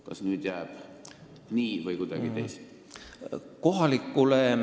Kas nüüd jääb nii või on kuidagi teisiti?